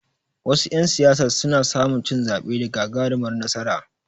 Wasu ƴan siyasar suna samu cin zaɓe da gagarumar nasara.